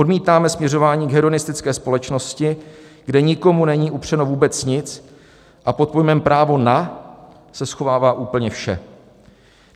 Odmítáme směřování k hédonistické společnosti, kde nikomu není upřeno vůbec nic a pod pojmem "právo na" se schovává úplně vše.